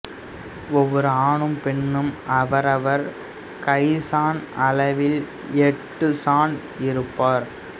ஒவ்வொரு ஆணும் பெண்ணும் அவரவர் கைச்சான் அளவில் எட்டுச் சான் இருப்பர்